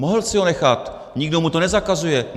Mohl si ho nechat, nikdo mu to nezakazuje.